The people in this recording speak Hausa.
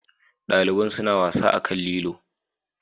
Daliban suna wasa akan lilo.